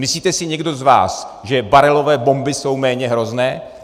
Myslíte si někdo z vás, že barelové bomby jsou méně hrozné?